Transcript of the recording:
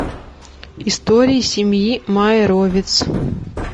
истории семьи майровиц